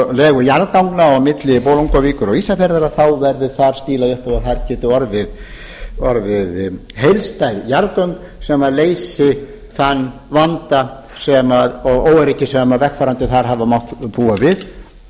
legu jarðganga á milli bolungarvíkur og ísafjarðar verði þar stílað upp á að þar geti orðið heildstæð jarðgöng sem leysi þann vanda og óöryggi sem vegfarendur þar hafa mátt búa við